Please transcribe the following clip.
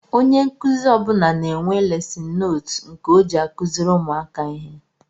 Ónyé nkụzi ọbula na-enwe lesin nóótu nke ọ jị akuziri ụmụaka ihe.